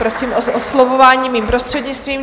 Prosím o oslovování mým prostřednictvím.